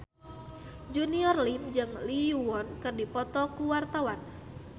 Junior Liem jeung Lee Yo Won keur dipoto ku wartawan